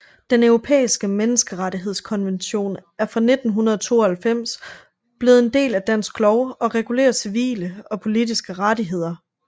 Den Europæiske Menneskerettighedskonvention er fra 1992 blevet en del af dansk lov og regulerer civile og politiske rettigheder